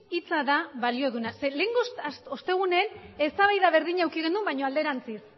hitza da balio duena zeren eta lehenengo ostegunean eztabaida berdina eduki genuen baina alderantziz